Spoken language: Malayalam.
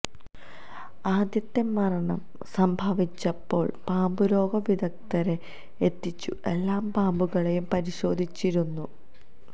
ആദ്യത്തെ മരണം സംഭവിച്ചപ്പോള് പാമ്പുരോഗ വിദഗ്ധരെ എത്തിച്ച് എല്ലാ പാമ്പുകളെയും പരിശോധിച്ചിരുന്നു